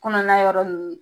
Kɔnɔna yɔrɔ ninnu